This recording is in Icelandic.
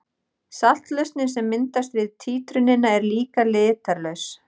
Saltlausnin sem myndast við títrunina er líka litarlaus.